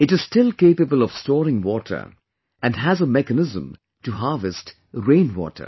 It is still capable of storing water and has a mechanism to harvest rain water